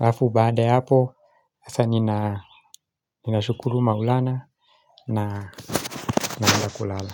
Alafu baada ya hapo hasaa nina ninashukuru Maulana, na naanza kulala.